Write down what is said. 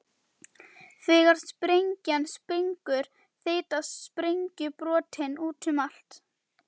Þegar sprengjan springur þeytast sprengjubrotin út um allt.